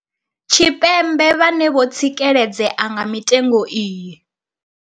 Tshipembe vhane vho tsikeledzea nga mitengo iyi.